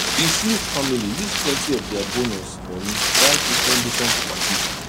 di smith family use plenty of dia bonus money buy differentdifferent property